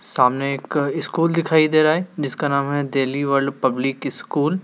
सामने एक स्कूल दिखाई दे रहा है जिसका नाम है दिल्ली वर्ल्ड पब्लिक स्कूल ।